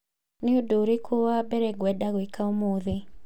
Nĩ ũndũ ũrĩkũ wa mbere ngwenda gwĩka ũmũthĩ?